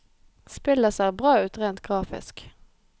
Spillet ser bra ut rent grafisk.